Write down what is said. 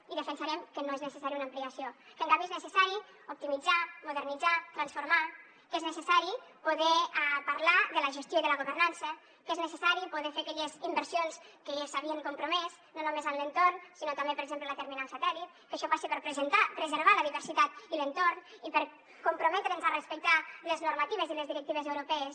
i defensarem que no és necessària una ampliació que en canvi és necessari optimitzar modernitzar transformar que és necessari poder parlar de la gestió i de la governança que és necessari poder fer aquelles inversions que s’havien compromès no només en l’entorn sinó també per exemple la terminal satèl·lit que això passa per preservar la diversitat i l’entorn i per comprometre’ns a respectar les normatives i les directives europees